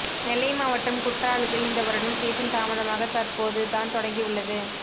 நெல்லை மாவட்டம் குற்றாலத்தில் இந்த வருடம் சீசன் தாமதமாக தற்போது தான் தொடங்கி உள்ளது